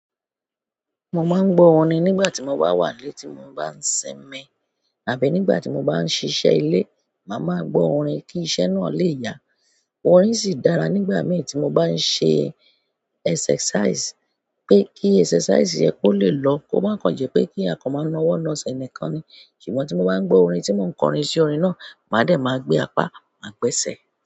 Mo máa ń gbọ orin nígbà tí mo bá wà nílé tí mo bá ń ṣínmi, àbí nígbà tí mo bá ń ṣiṣẹ́ ilé, màá máa gbọ orin kí iṣẹ́ náà lè yá. Orin sì dára nígbà mìí tí mo bá ń ṣe exercise pé kí exercise yẹn kó lè lọ, kó má ń kàn jẹ́ pé kí a kan máa ń na ọwọ́ na ésẹ̀ nìkan ni. Ṣùgbọ́n tí mo bá ń gbọ orin tí mò ń kọrin sí ọlọ́run, màá dẹ̀ máa gbé apá, màá gbẹ́sẹ̀.